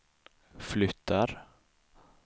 flyttar